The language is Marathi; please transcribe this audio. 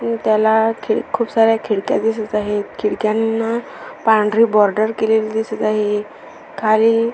आणि त्याला खूप सारे खिडक्या दिसत आहेत खिडक्यांना पांढरी बॉर्डर केलेली दिसत आहे खाली --